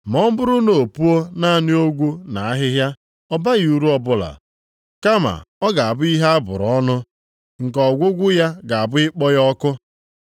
Ma ọ bụrụ na o puo naanị ogwu na ahịhịa, ọ baghị uru ọbụla. Kama, ọ ga-abụ ihe a bụrụ ọnụ, nke ọgwụgwụ ya ga-abụ ịkpọ ya ọkụ.